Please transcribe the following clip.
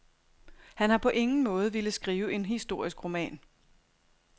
Han har på ingen måde villet skrive en historisk roman.